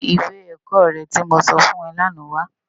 Mú iwé èkò rè ti mó sòfún è làná wá